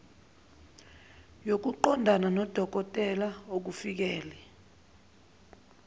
yokuqondana nodokotela okufikele